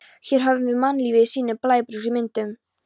Hér höfum við mannlífið í sínum blæbrigðaríkustu myndum.